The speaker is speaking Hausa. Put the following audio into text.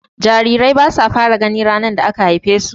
Jarirai basu fara gani ranar da aka haife su.